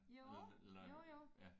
Jo jo jo